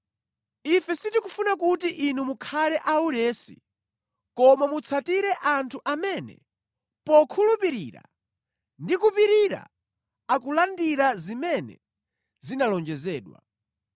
Ife sitikufuna kuti inu mukhale aulesi, koma mutsatire anthu amene, pokhulupirira ndi kupirira, akulandira zimene zinalonjezedwa.